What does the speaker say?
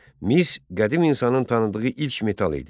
Mis qədim insanın tanıdığı ilk metal idi.